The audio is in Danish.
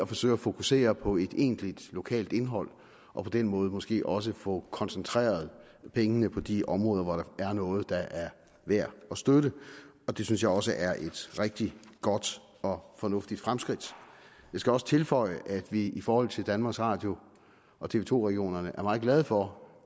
forsøge at fokusere på et egentligt lokalt indhold og på den måde måske også få koncentreret pengene på de områder hvor der er noget der er værd at støtte det synes jeg også er et rigtig godt og fornuftigt fremskridt jeg skal også tilføje at vi i forhold til danmarks radio og tv to regionerne er meget glade for